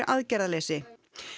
aðgerðaleysi